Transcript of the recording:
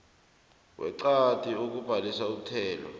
ngeqadi ekubhadeleni umthelo